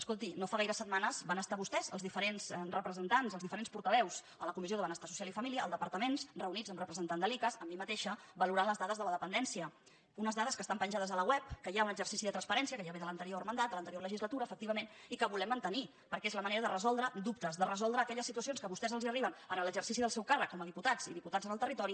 escolti no fa gaires setmanes van estar vos·tès els diferents representants els diferents portaveus a la comissió de benestar social i família al departa·ment reunits amb representants de l’icass amb mi mateixa valorant les dades de la dependència unes dades que estan penjades a la web que hi ha un exer·cici de transparència que ja ve de l’anterior mandat de l’anterior legislatura efectivament i que volem man·tenir perquè és la manera de resoldre dubtes de re·soldre aquelles situacions que a vostès els arriben en l’exercici del seu càrrec com a diputats i diputats en el territori